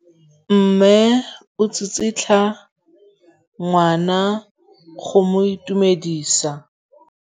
Mme o tsikitla ngwana go mo itumedisa.